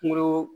Kungolo